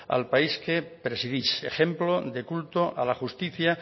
al país que presidís ejemplo de culto a la justicia